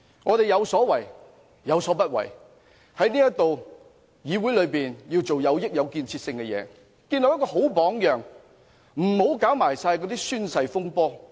我們有所為，有所不為，在議會內便要做有益、有建設性的事情，建立好榜樣，不要搞甚麼宣誓風波。